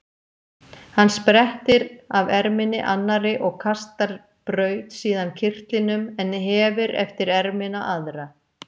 Hann sprettir af erminni annarri og kastar braut síðan kyrtlinum en hefir eftir ermina aðra.